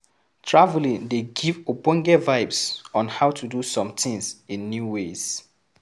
Travelling dey give ogbonge vibes on how to do some things in new ways